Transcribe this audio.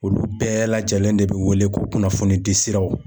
Olu bɛɛ lajɛlen de bi wele ko kunnafonidi siraw.